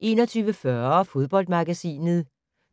21:40: Fodboldmagasinet